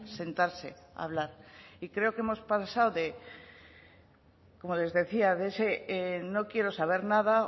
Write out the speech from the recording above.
sentarse a hablar y creo que hemos pasado como les decía de ese no quiero saber nada